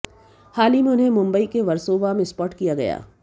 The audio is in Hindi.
हाल ही में उन्हें मुंबई के वर्सोवा में स्पॉट किया गया